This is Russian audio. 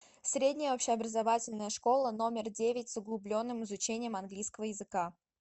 средняя общеобразовательная школа номер девять с углубленным изучением английского языка